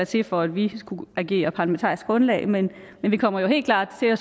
til for at vi skulle agere parlamentarisk grundlag men vi kommer jo helt klart til at